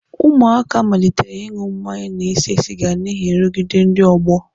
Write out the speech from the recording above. Ụmụaka malitere ịṅụ mmanya na ise siga n'ihi nrụgide ndị ọgbọ.